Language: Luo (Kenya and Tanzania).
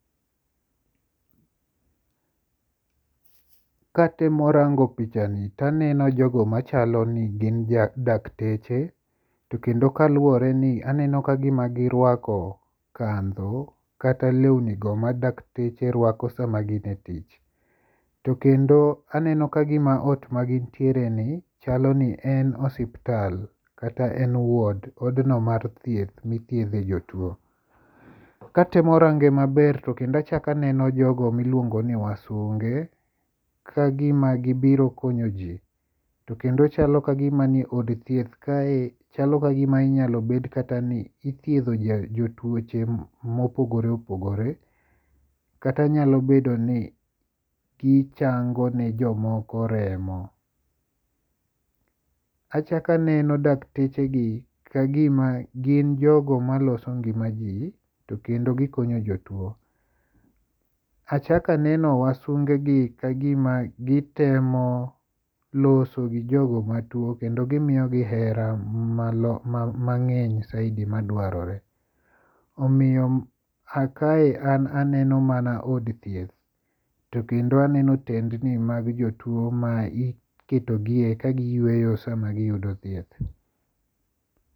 Katemo rango pichani taneno jogo machalo ni gin dakteche to kendo kaluwore ni aneno ka gima girwako kandho kata lweni go ma dakteche rwako sama gin e tich. To kendo aneno ka gima ot ma gintiere ni chalo ni en osiptal kata en wod. Odno mar thieth mithiedhe jotuo. Katemo range maber tokendo achak aneno jogo miluongo ni wasunge kagima gibiro konyo ji. To kendo chalo kagima ni od thieth kae chalo kagima inyalo bet kata ni ithiedho jotuoche mopogore opogore. Kata nyalo bedo ni gichango ne jomoko remo. Achak aneno dakteche gi kagima gin jogo maloso ngima ji to kendo gikonyo jotuo. Achak aneno wasunge gi kagima gitemo loso gi jogo matuo kendo gimiyo gi hera mang'eny saidi ma dwarore. Omiyo a kae an aneno mana od thieth. Tokendo aneno otendni mag jotuo ma iketogie ka giyweyo sama giyudo thieth.